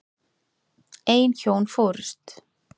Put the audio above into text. Ein hjón fórust.